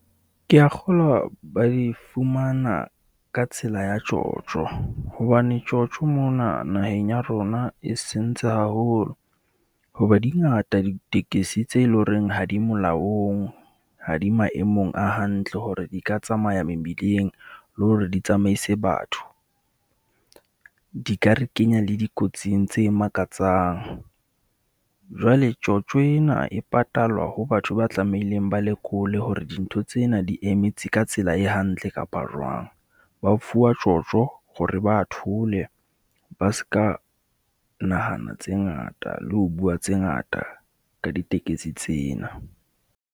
Ke a kgolwa ba di fumana ka tsela ya tjotjo hobane tjotjo mona naheng ya rona e sentse haholo. Hoba di ngata, ditekesi tse eleng horeng ha di molaong, ha di maemong a hantle hore di ka tsamaya mebileng le hore di tsamaise batho. Di ka re kenya le dikotsing tse makatsang. Jwale tjotjo ena e patalwa ho batho ba tlameileng ba lekole hore dintho tsena di emetse ka tsela e hantle kapa jwang. Ba fuwa tjotjo hore ba thole ba ska nahana tse ngata le ho bua tse ngata ka ditekesi tsena.